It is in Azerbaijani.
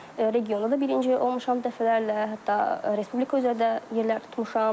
Regionda da birinci olmuşam dəfələrlə, hətta respublika üzrə də yerlər tutmuşam.